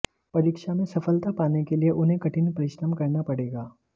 परीक्षा में सफलता पाने के लिए उन्हें कठिन परिश्रम करना पड़ेगा